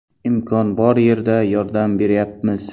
Imkon bor yerda yordam beryapmiz.